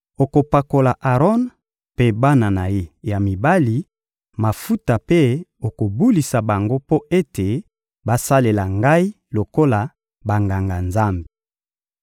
Okopakola Aron mpe bana na ye ya mibali mafuta mpe okobulisa bango mpo ete basalela Ngai lokola Banganga-Nzambe.